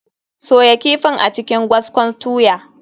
Soya kifin a cikin gwaskon tuya.